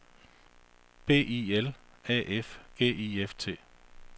B I L A F G I F T